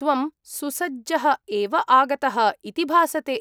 त्वं सुसज्जः एव आगतः इति भासते।